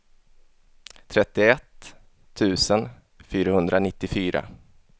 trettioett tusen fyrahundranittiofyra